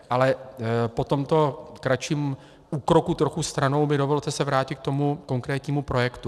Ale po tomto kratším úkroku trochu stranou mi dovolte se vrátit k tomu konkrétnímu projektu.